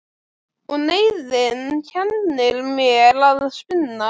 Og neyðin kennir mér að spinna.